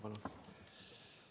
Palun!